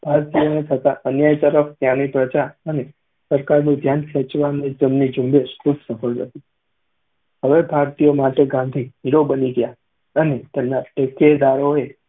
ભારતીયોને થતા અન્યાય તરફ ત્યાંની પ્રજા અને સરકારનું ધ્યાન ખેંચવામાં તેમની ઝુંબેશ ખૂબ સફળ રહી. હવે ભારતીયો માટે ગાંધી હ hero બની ગયા અને તેમના ટેકેદારોએ